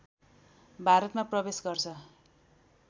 भारतमा प्रवेश गर्छ